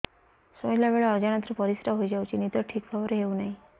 ଶୋଇଲା ବେଳେ ଅଜାଣତରେ ପରିସ୍ରା ହୋଇଯାଉଛି ନିଦ ଠିକ ଭାବରେ ହେଉ ନାହିଁ